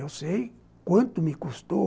Eu sei quanto me custou